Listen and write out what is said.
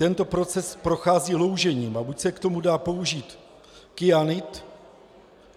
Tento proces prochází loužením a buď se k tomu dá použít kyanid,